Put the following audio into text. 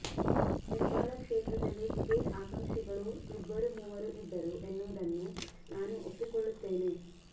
ಹೆಬ್ಬಾಳ ಕ್ಷೇತ್ರದಲ್ಲಿ ಟಿಕೆಟ್ ಆಕಾಂಕ್ಷಿಗಳು ಇಬ್ಬರು ಮೂವರು ಇದ್ದರು ಎನ್ನುವುದನ್ನು ನಾನು ಒಪ್ಪಿಕೊಳ್ಳುತ್ತೇನೆ